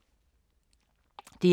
DR2